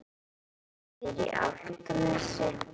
Hann býr á Álftanesi.